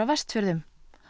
Vestfjörðum